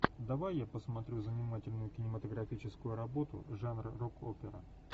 давай я посмотрю занимательную кинематографическую работу жанра рок опера